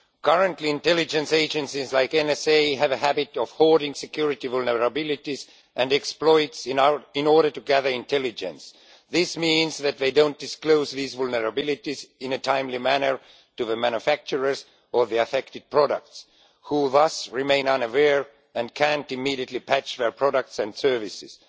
Currently intelligence agencies like the NSA have a habit of hoarding security vulnerabilities and exploits in order to gather intelligence. This means that they don't disclose these vulnerabilities in a timely manner to the manufacturers of the affected products, who thus remain unaware and can't immediately patch their products and services.